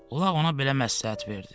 Ulaq ona belə məsləhət verdi: